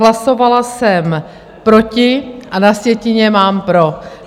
Hlasovala jsem proti, a na sjetině mám pro.